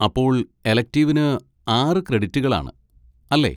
അപ്പോൾ എലെക്റ്റിവിന് ആറ് ക്രെഡിറ്റുകൾ ആണ്, അല്ലേ?